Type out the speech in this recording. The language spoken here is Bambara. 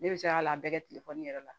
Ne bɛ se ka a bɛɛ kɛ telefɔni yɛrɛ la